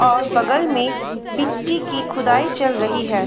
और बगल में मिट्टी की खूदाई चल रही है।